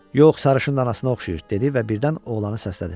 Yox, sarışın anasına oxşayır, dedi və birdən oğlanı səslədi.